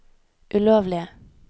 ulovlige